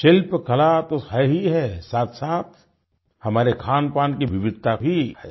शिल्पकला तो है ही है साथसाथ हमारे खानपान की विविधता भी है